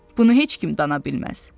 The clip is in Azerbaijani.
Bunu heç kim dana bilməz.